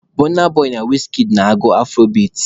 Bọna boị na wizkid na-agụ afurobeat.